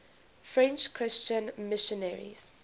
french christian missionaries